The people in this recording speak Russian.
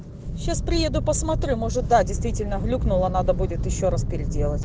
сейчас приеду посмотрю может да действительно глюкнула надо будет ещё раз переделать